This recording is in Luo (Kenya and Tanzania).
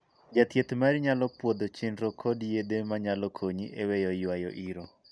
Jathieth mari nyalo puodho chenro kod yedhe manyalo konyi e weyo yuayo iro.